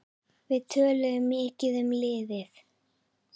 Við töluðum mikið um liðið.